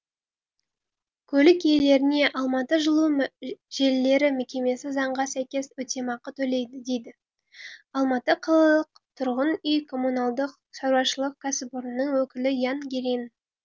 көлік иелеріне алматы жылу желілері мекемесі заңға сәйкес өтемақы төлейді дейді алматы қалалық тұрғын үй коммуналдық шаруашылық кәсіпорнының өкілі ян гирин